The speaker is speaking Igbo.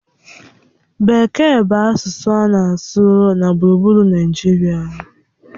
Bekee bụ asụsụ a na-asụ na gburugburu Naịjirịa.